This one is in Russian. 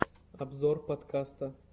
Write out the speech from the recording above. обзор подкаста